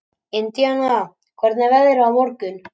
Indiana, hvernig er veðrið á morgun?